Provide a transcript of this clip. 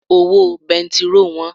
Owó bẹntiróò wọ́n.